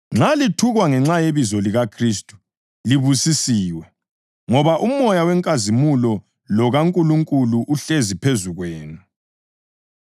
Nxa lithukwa ngenxa yebizo likaKhristu, libusisiwe, ngoba uMoya wenkazimulo lokaNkulunkulu uhlezi phezu kwenu.